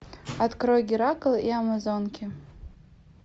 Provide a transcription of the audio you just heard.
открой геракл и амазонки